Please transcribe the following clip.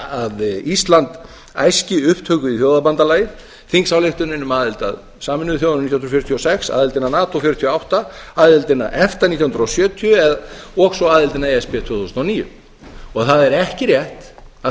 að ísland æski upptöku í þjóðabandalagið þingsályktunin um aðild að sameinuðu þjóðunum nítján hundruð fjörutíu og sex aðildin að nato nítján hundruð fjörutíu og átta aðildin að efta nítján hundruð sjötíu og svo aðildin að e s b tvö þúsund og níu það er ekki rétt að